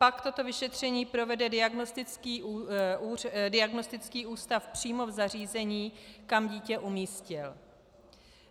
Pak toto vyšetření provede diagnostický ústav přímo v zařízení, kam dítě umístil.